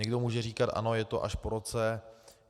Někdo může říkat ano, je to až po roce.